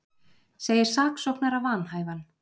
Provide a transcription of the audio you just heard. Segir saksóknara vanhæfan